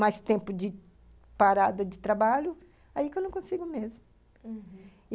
Mais tempo de parada de trabalho, aí que eu não consigo mesmo, uhum.